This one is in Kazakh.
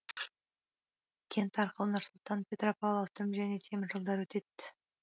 кент арқылы нұр сұлтан петропавл автомобиль және темір жолдары өтет